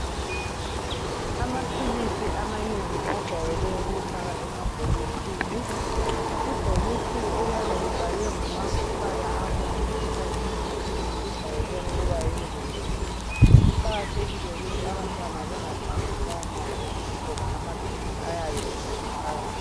Amaphilisi amanengi ajwayele ukufakwa emabhokisini. Ibhokisi eliyabe libhalwe ngamabala abomvu esikhathini esinengi lijayele ukuba yingozi. Kuqakathekile ukuthi abantwana bengadlalisi lawo mabhokisi ngoba amaphilisi ayabe esele phakathi.